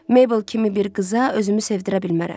Mabel kimi bir qıza özümü sevdirə bilmərəm.